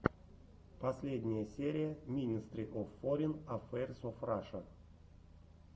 последняя серия минестри оф форин аффэйрс оф раша